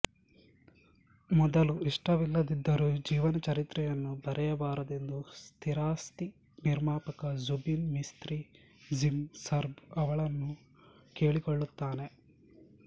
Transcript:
ಮೊದಲು ಇಷ್ಟವಿಲ್ಲದಿದ್ದರೂ ಜೀವನಚರಿತ್ರೆಯನ್ನು ಬರೆಯಬಾರದೆಂದು ಸ್ಥಿರಾಸ್ತಿ ನಿರ್ಮಾಪಕ ಜ಼ುಬಿನ್ ಮಿಸ್ತ್ರಿ ಜಿಮ್ ಸರ್ಭ್ ಅವಳನ್ನು ಕೇಳಿಕೊಳ್ಳುತ್ತಾನೆ